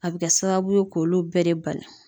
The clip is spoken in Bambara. A bi kɛ sababu ye k'olu bɛɛ de bali